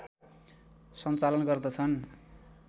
सञ्चालन गर्दछन्